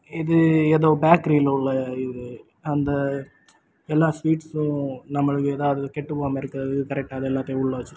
இது ஏதோ பேக்கரில உள்ள இது. அந்த எல்லா ஸ்வீட்ஸ்ஸு நமக்கு அதது கெட்டுப்போனது இருக்றது கரெக்ட்டா எல்லாத்தையு உள்ள வெச்சிருக்கு.